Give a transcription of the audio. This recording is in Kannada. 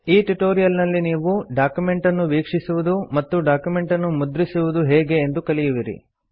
ಈ ಟ್ಯುಟೋರಿಯಲ್ ನಲ್ಲಿ ನೀವು ಡಾಕ್ಯುಮೆಂಟ್ ಅನ್ನು ವೀಕ್ಷಿಸುವುದು ಮತ್ತು ಡಾಕ್ಯುಮೆಂಟ್ ಅನ್ನು ಮುದ್ರಿಸುವುದು ಹೇಗೆ ಎಂದು ಕಲಿಯುವಿರಿ